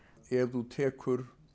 þú tekur